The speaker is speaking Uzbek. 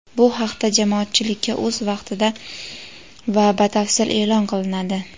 Bu haqda jamoatchilikka o‘z vaqtida va batafsil e’lon qilinadi.